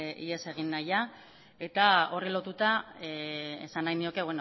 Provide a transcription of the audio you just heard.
ihes egin nahia eta horri lotuta esan nahi nioke